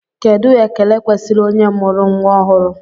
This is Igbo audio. Kedụ ekele kwesịrị onye nụrụ nnwa ọhụrụ?